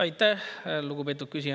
Aitäh, lugupeetud küsija!